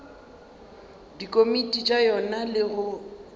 dikomiti tša yona le go